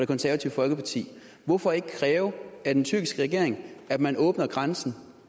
konservative folkeparti hvorfor ikke kræve af den tyrkiske regering at man åbner grænsen